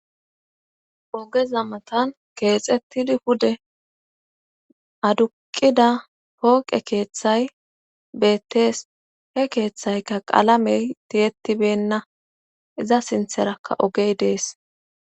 ogeza matan keexettidi pude aduqida pooqe keeththay beettees he keeththayka qalamey tiyetibenna iza sintherakka ogey dees